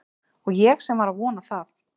Og ég sem var að vona það